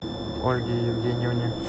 ольге евгеньевне